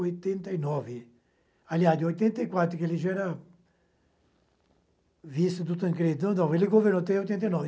oitenta e nove, aliás, de oitenta e quatro, que ele já era vice do Tancredão, ele governou até oitenta e nove.